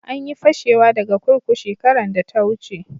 An yi fashewa daga kurkuku shekaran da ta wuce.